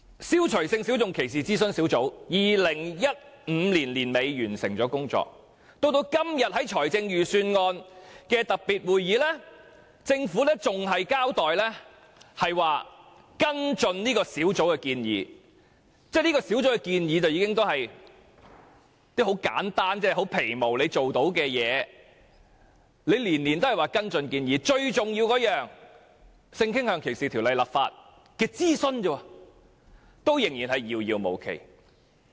消除歧視性小眾諮詢小組早在2015年年底已完成了工作，但在今天的預算案特別會議上，政府仍只說會跟進這小組的建議——這小組所提出的建議均十分簡單及基本，政府定能做到，但每年均只說會跟進建議，至於就為性傾向歧視立法進行公眾諮詢這項最重要的工作，卻仍然遙遙無期。